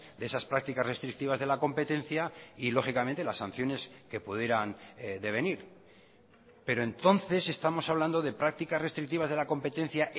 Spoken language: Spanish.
de esas prácticas restrictivas de la competencia y lógicamente las sanciones que pudieran devenir pero entonces estamos hablando de prácticas restrictivas de la competencia